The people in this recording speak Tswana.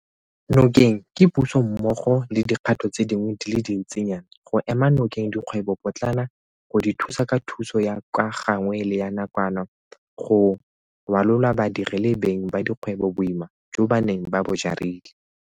Nokeng ke Puso mmogo le dikgato tse dingwe di le dintsinyana go ema nokeng dikgwebopotlana go di thusa ka thuso ya ka gangwe le ya nakwana go rwalola badiri le beng ba dikgwebo boima jo ba neng ba bo jarile.